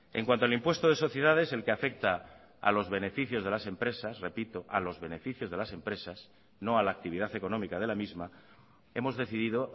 en cuanto al impuesto de sociedades el que afecta a los beneficios de las empresas repito a los beneficios de las empresas no a la actividad económica de la misma hemos decidido